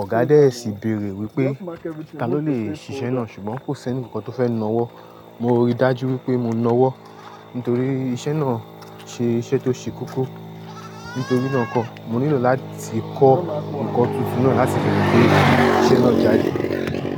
Ọ̀gá dé síí bèrè wípé, "ta ló le ṣíṣe náà?" ṣùgbọ́n kò sí ẹnìkankan tó fẹ́ nawọ́. Mo rí dájú wípé mo nawọ́, nítorí iṣẹ́ náà ṣe iṣẹ́ tó ṣe kókó. Nítorí náà kọ́, mo nílò láti kọ́ ǹkan tuntun náà láti lè gbé iṣẹ́ náà jáde.